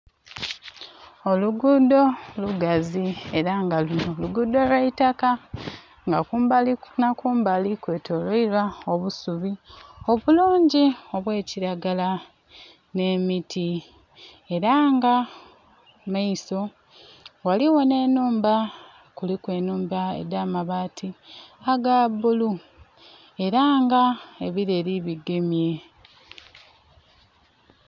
Olugudho lugazi era nga lunho lugudho lwaitaka nga kumbali nha kumbali kwe toleelwa obusuubi obulungi obwa kilagala nhe miti era nga mumaiso ghaligho nhe enhumba, kuliku enhumba edha mabati aga bulu era nga ebileli bigemye.